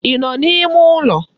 Ị nọ n'ime ụlọ?